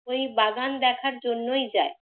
ওই বাগান দেখার জন্যই যায়।